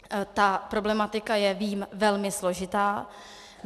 Ta problematika je, vím, velmi složitá.